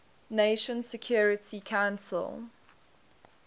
nations security council